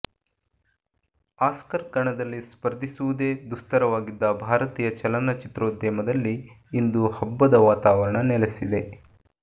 Oscar ಕಣದಲ್ಲಿ ಸ್ಪರ್ಧಿಸುವುದೇ ದುಸ್ತರವಾಗಿದ್ದ ಭಾರತೀಯ ಚಲನಚಿತ್ರೋದ್ಯಮದಲ್ಲಿ ಇಂದು ಹಬ್ಬದ ವಾತಾವರಣ ನೆಲಸಿದೆ